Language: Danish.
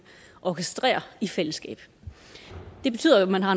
orkestrere i fællesskab det betyder at man har